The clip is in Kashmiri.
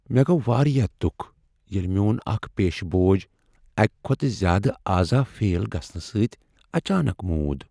مےٚ گوٚو واریاہ دکھ ییٚلہ میون اکھ پیشہ بوج اکہ کھۄتہٕ زیادٕ اعضاء فیل گژھنہٕ سۭتۍ اچانک مُود۔